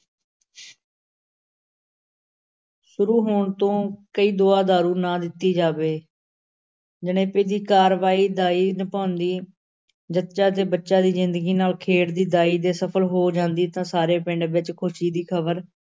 ਸ਼ੁਰੂ ਹੋਣ ਤੋਂ ਕੋਈ ਦੁਆ-ਦਾਰੂ ਨਾ ਦਿੱਤਾ ਜਾਵੇ ਜਣੇਪੇ ਦੀ ਕਾਰਵਾਈ ਦਾਈ ਨਿਭਾਉਂਦੀ, ਜੱਚਾ ਤੇ ਬੱਚਾ ਦੀ ਜ਼ਿੰਦਗੀ ਨਾਲ ਖੇਡਦੀ ਦਾਈ ਜੇ ਸਫਲ ਹੋ ਜਾਂਦੀ, ਤਾਂ ਸਾਰੇ ਪਿੰਡ ਵਿੱਚ ਖ਼ੁਸ਼ੀ ਦੀ ਖ਼ਬਰ